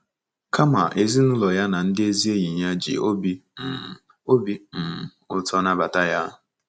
Kama, ezinaụlọ ya na ndị ezi enyi ya ji obi um obi um ụtọ nabata ya.